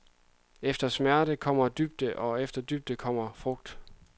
Efter smerte kommer dybde og efter dybden kommer frugt.